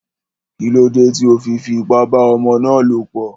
Kílódé tí o fi fi ipá bá ọmọ ná lọ̀ pọ̀?